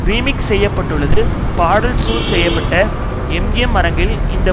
remix செய்ய பட்டுள்ளது பாடல் ஷூட் செய்ய பட்ட எம்ஜிஎம் அரங்கில் இந்த